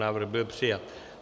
Návrh byl přijat.